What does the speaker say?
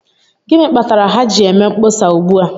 Gịnị kpatara ha ji eme mkpọsa ugbu a?